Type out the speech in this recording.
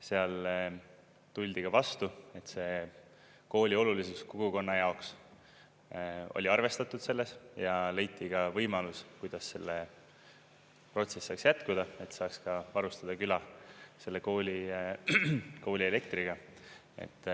Seal tuldi ka vastu, et see kooli olulisus kogukonna jaoks oli arvestatud selles ja leiti ka võimalus, kuidas see protsess saaks jätkuda, et saaks ka varustada küla selle kooli elektriga.